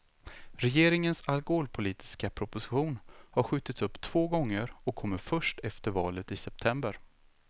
Regeringens alkoholpolitiska proposition har skjutits upp två gånger och kommer först efter valet i september.